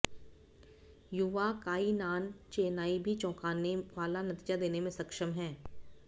युवा काइनान चेनाई भी चौंकाने वाला नतीजा देने में सक्षम हैं